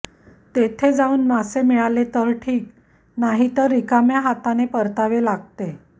तेथे जावून मासे मिळाले तर ठीक नाहीतर रिकाम्या हाताने परतावे लागते